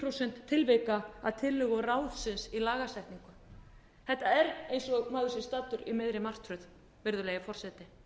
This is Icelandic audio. prósent tilvika að tillögum ráðsins í lagasetningu þetta er eins og maður sé staddur í miðri martröð virðulegi forseti þetta viðhorf að